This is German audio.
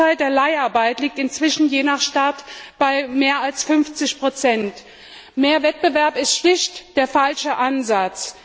Der Anteil der Leiharbeit liegt inzwischen je nach Stadt bei mehr als 50 Mehr Wettbewerb ist schlicht der falsche Ansatz.